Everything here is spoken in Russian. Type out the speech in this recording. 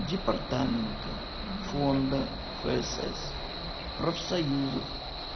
департамента фонда фсс профсоюзов